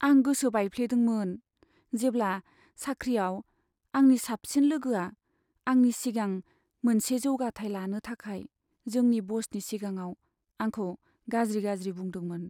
आं गोसो बायफ्लेदोंमोन, जेब्ला साख्रिआव आंनि साबसिन लोगोआ आंनि सिगां मोनसे जौगाथाय लानो थाखाय जोंनि बसनि सिगाङाव आंखौ गाज्रि गाज्रि बुंदोंमोन।